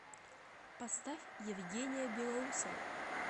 поставь евгения белоусова